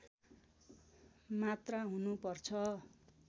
मात्रा हुनुपर्छ